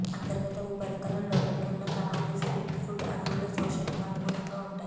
అంతర్గత ఉపరితలం లోపలికి ఉన్న కణాలు స్ప్లిట్ ఫుడ్ అణువుల శోషణకు అనుగుణంగా ఉంటాయి